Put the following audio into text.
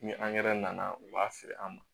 Ni angɛrɛ nana u b'a feere an ma